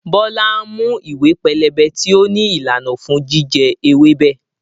Bọlá ń mú ìwé pélébé tí ó ní ìlànà fún jíjẹ ewébẹ̀.